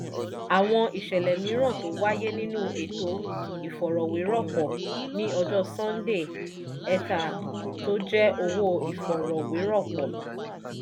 àwọn ìṣẹ̀lẹ̀ mìíràn tó wáyé nínú ètò ìfọ̀rọ̀wéròpọ̀: ní ọjọ́ sunday ether tó jẹ́ owó ìfọ̀rọ̀wéròpọ̀